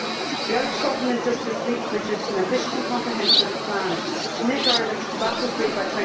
The Irish Government just this week produced an ambitious and comprehensive plan to make Ireland tobacco free by